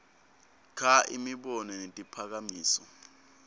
kha imibono netiphakamiso